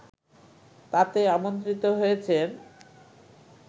তাতে আমন্ত্রিত হয়েছেন